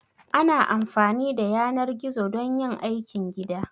Ana amfani da yanar gizo don yin aikin gida